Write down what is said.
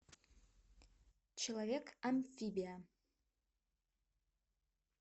человек амфибия